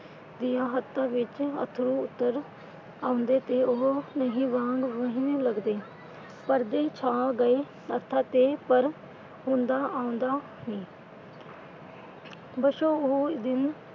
ਦੀਆਂ ਅੱਖਾਂ ਵਿਚ ਅੱਥਰੂ ਉੱਤਰ ਆਉਂਦੇ ਤੇ ਉਹ ਮੀਂਹ ਵਾਂਗ ਵਹਿਣ ਲੱਗਦੇ। ਪਰਦੇ ਛਾ ਗਏ ਅੱਖਾਂ ਤੇ ਪਰ ਮੁੰਡਾ ਆਉਂਦਾ ਨਈਂ ਬਸੋ ਉਹ ਦਿਨ,